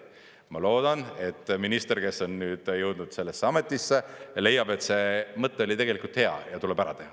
Ma loodan, et minister, kes on jõudnud sellesse ametisse, leiab, et see mõte oli tegelikult hea ja tuleb ära teha.